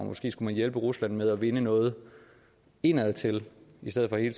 måske skulle hjælpe rusland med at vinde noget indadtil i stedet for hele